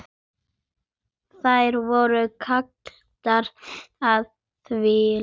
Þær voru kaldar og þvalar.